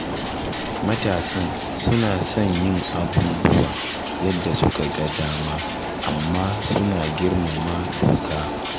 Matasan suna son yin abubuwa yadda suka ga dama amma suna girmama doka